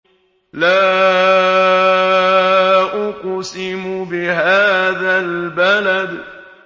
لَا أُقْسِمُ بِهَٰذَا الْبَلَدِ